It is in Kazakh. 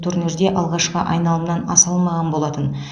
турнирде алғашқы айналымнан аса алмаған болатын